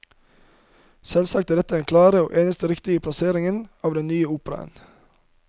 Selvsagt er dette den klare og eneste riktige plassering av den nye opera.